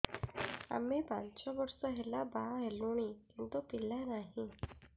ଆମେ ପାଞ୍ଚ ବର୍ଷ ହେଲା ବାହା ହେଲୁଣି କିନ୍ତୁ ପିଲା ନାହିଁ